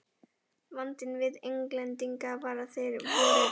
Vandinn við Englendinga var að þeir voru